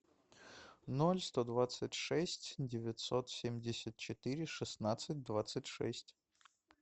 ноль сто двадцать шесть девятьсот семьдесят четыре шестнадцать двадцать шесть